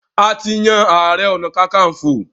A ti yan ààrẹ-ọ̀nà-kakanfò.